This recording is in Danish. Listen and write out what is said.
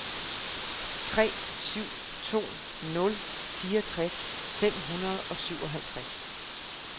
tre syv to nul fireogtres fem hundrede og syvoghalvtreds